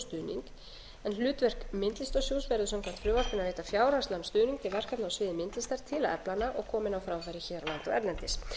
skilning en hlutverk myndlistarsjóðs verður samkvæmt frumvarpinu að veita fjárhagslegan stuðning til verkefna á sviði myndlistar til að efla hana og koma henni á framfæri hér á landi og erlendis